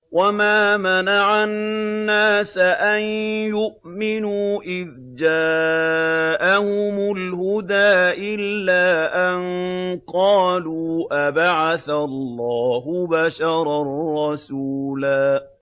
وَمَا مَنَعَ النَّاسَ أَن يُؤْمِنُوا إِذْ جَاءَهُمُ الْهُدَىٰ إِلَّا أَن قَالُوا أَبَعَثَ اللَّهُ بَشَرًا رَّسُولًا